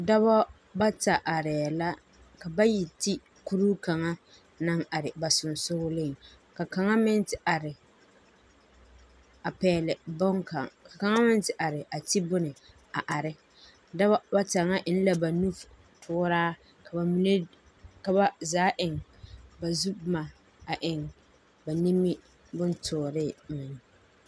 Dͻbͻ bata arԑԑ la, ka bayi te kuri kaŋa naŋ are ba sensogeliŋ. Ka kaŋa meŋ te are a pԑgԑle boŋkaŋa, ka kaŋa meŋ te are a te bone a are. Dͻbͻ bata ŋa eŋ la ba nu tooraa. Ka ba mine, ka ba zaa eŋ ba zu boma a eŋ ba nimi bontooree meŋ.